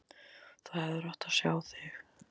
Þú hefðir átt að sjá þig!